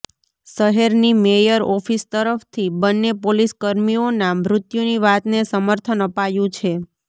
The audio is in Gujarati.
શહેરની મેયર ઓફિસ તરફથી બંને પોલીસકર્મીઓના મૃત્યુની વાતને સમર્થન અપાયું છે